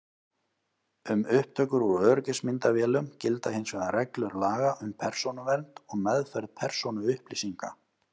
Um upptökur úr öryggismyndavélum gilda hins vegar reglur laga um persónuvernd og meðferð persónuupplýsinga.